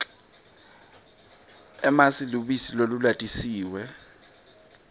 emasi lubisi lolulatisiwe